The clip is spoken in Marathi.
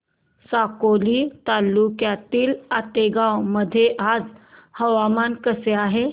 साकोली तालुक्यातील आतेगाव मध्ये आज हवामान कसे आहे